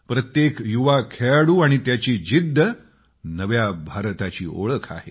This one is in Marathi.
प्रत्येक युवा खेळाडू आणि त्याची जिद्द नव्या भारताची ओळख आहे